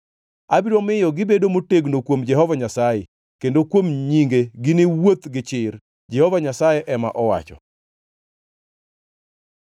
Abiro miyo gibedo motegno kuom Jehova Nyasaye, kendo kuom nyinge giniwuoth gichir,” Jehova Nyasaye ema owacho.